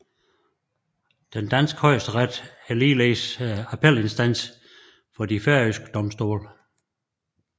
Den danske Højesteret er ligeledes appelinstans for de færøske domstole